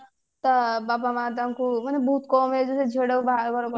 ତା ବାବା ମା ତାଙ୍କୁ କଣ ବହୁତ୍ କଣ କହଲୁ ସେ ଝିଅ ଟାକୁ ବାହାଘର କରି